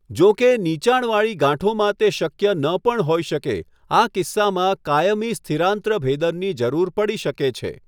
જોકે, નીચાણવાળી ગાંઠોમાં તે શક્ય ન પણ હોઈ શકે. આ કિસ્સામાં, કાયમી સ્થિરાંત્ર ભેદનની જરૂર પડી શકે છે.